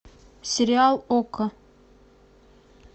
сериал окко